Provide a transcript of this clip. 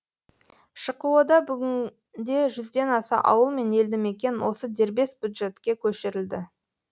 шқо да бүгінде жүзден аса ауыл мен елді мекен осы дербес бюджетке көшірілді